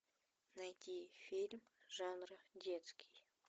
найти фильм жанра детский